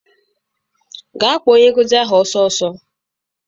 Gaa kpọọ onye nkụzi gị ọsọ ọsọ!